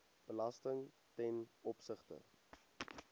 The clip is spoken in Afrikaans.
belasting ten opsigte